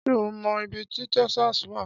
Ṣé ó mọ ibi tí Texas wà?